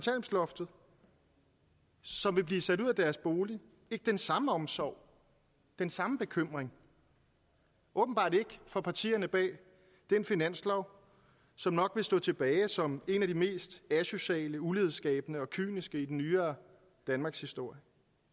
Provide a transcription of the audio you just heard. som vil blive sat ud af deres bolig ikke den samme omsorg den samme bekymring åbenbart ikke for partierne bag den finanslov som nok vil stå tilbage som en af de mest asociale ulighedsskabende og kyniske i den nyere danmarkshistorie